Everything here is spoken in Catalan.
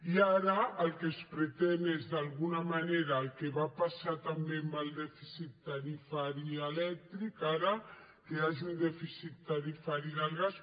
i ara el que es pretén és d’alguna manera el que va passar també amb el dèficit tarifari elèctric ara que hi hagi un dèficit tarifari del gas